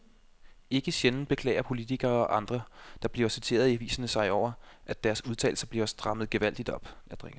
Ikke sjældent beklager politikere og andre, der bliver citeret i aviserne sig over, at deres udtalelser bliver strammet gevaldigt op.